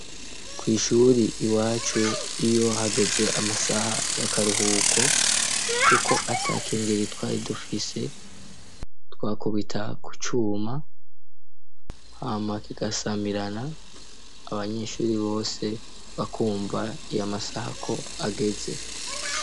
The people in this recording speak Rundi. Ku ishuri iwacu iyo hageze amasaha y'akaruhuko kuko ata kengeri twari dufise twakubita ku cuma hama kigasamirana abanyeshuri bose bakumva amasaha ko ageze.